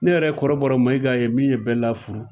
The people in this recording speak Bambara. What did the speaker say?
Ne yɛrɛ kɔrɔbɔrɔ mayigaa ye min ye bɛɛa furu